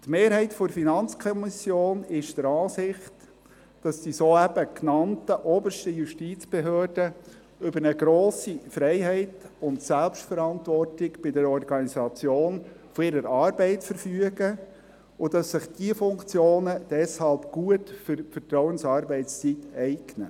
Die Mehrheit der FiKo ist der Ansicht, dass die soeben genannten obersten Justizbehörden über eine grosse Freiheit und Selbstverantwortung bei der Organisation ihrer Arbeit verfügen und dass sich diese Funktionen deshalb gut für die Vertrauensarbeitszeit eignen.